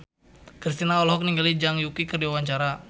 Kristina olohok ningali Zhang Yuqi keur diwawancara